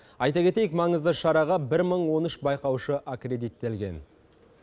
айта кетейік маңызды шараға бір мың он үш байқаушы аккредиттелген